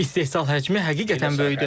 İstehsal həcmi həqiqətən böyükdür.